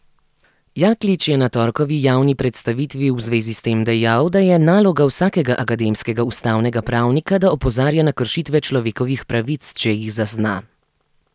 Jaklič je na torkovi javni predstavitvi v zvezi s tem dejal, da je naloga vsakega akademskega ustavnega pravnika, da opozarja na kršitve človekovih pravic, če jih zazna.